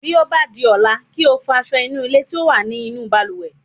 Bí ó bá di ọ̀la, kí o fọ aṣọ ìnulẹ̀ tí ó wà ní inú balùwẹ̀.